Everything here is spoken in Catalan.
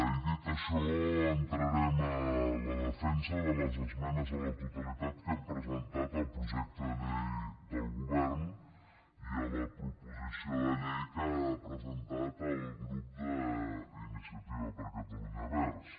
i dit això entrarem a la defensa de les esmenes a la totalitat que hem presentat al projecte de llei del govern i a la proposició de llei que ha presentat el grup d’iniciativa per catalunya verds